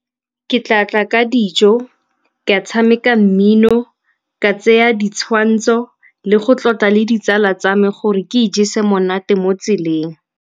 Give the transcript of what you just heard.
Ke tla tla ka dijo, ka tshameka mmino, ka tseya ditshwantsho le go tlotla le ditsala tsa me gore ke ijese monate mo tseleng.